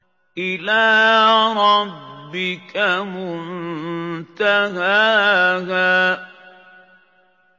إِلَىٰ رَبِّكَ مُنتَهَاهَا